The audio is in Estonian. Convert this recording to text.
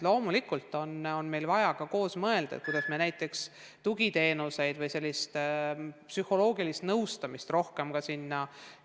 Loomulikult on vaja ka koos mõelda, kuidas me tugiteenuseid ja sellist psühholoogilist nõustamist rohkem pakume.